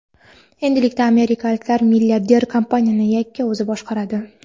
Endilikda amerikalik milliarder kompaniyani yakka o‘zi boshqaradi.